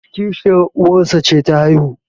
kishiyar uwarsa ce ta haihu